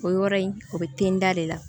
O yɔrɔ in o bɛ ten da de la